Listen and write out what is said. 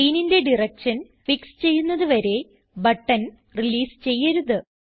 ചെയിനിന്റെ direction fix ചെയ്യുന്നത് വരെ button release ചെയ്യരുത്